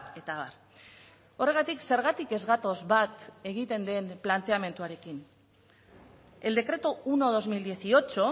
eta abar horregatik zergatik ez gatoz bat egiten den planteamenduarekin el decreto uno barra dos mil dieciocho